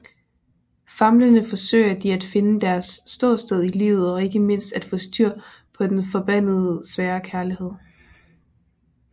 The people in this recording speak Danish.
Famlende forsøger de at finde deres ståsted i livet og ikke mindst at få styr på den forbandede svære kærlighed